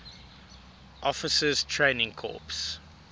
officers training corps